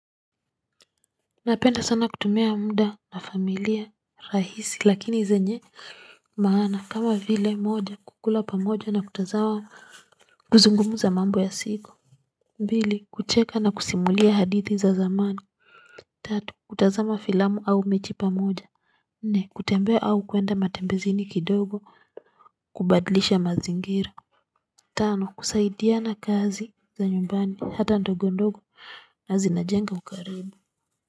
Napenda sana kutumia muda na familia rahisi lakini zenye maana, kama vile moja kukula pamoja na kutazama, kuzungumza mambo ya siku. Mbili, kucheka na kusimulia hadithi za zamani. Tatu, kutazama filamu au mechi pamoja. Nne, kutembea au kuenda matembezini kidogo, kubadlisha mazingira. Tano, kusaidiana kazi za nyumbani hata ndogo ndogo na zinajenga ukaribu.